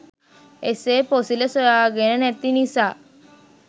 එසේ පොසිල සොයාගෙන නැති නිසා